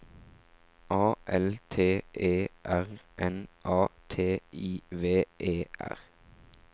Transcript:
A L T E R N A T I V E R